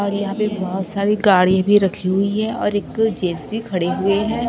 और यहां पे बहोत सारी गाड़ी भी रखी हुई है और एक जे_सी_बी खड़े हुए हैं।